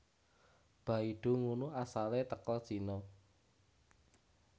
Baidu ngunu asale teko Cino